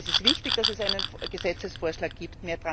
Es ist wichtig, dass es einen Gesetzesvorschlag gibt.